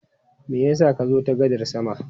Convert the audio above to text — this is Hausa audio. Me ya sa ka zo ta gadar sama?